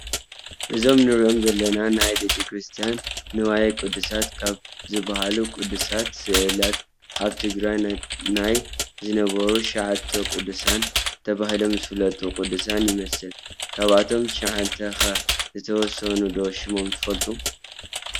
እዞም ንሪኦም ዘለና ናይ ቤተክርስትያን ንዋየ ቅድሳት ካብ ዝባሃሉ ቅዱሳት ስእላት ኣብ ትግራይ ናይ ዝነበሩ "9ቱ ቅዱሳን" ተባሂሎም ዝፍለጡ ቅዱሳን ይመስሉ፡፡ ካብቶም 9 ኸ ዝተወሰኑ ዶ ሽሞም ትፈልጡ?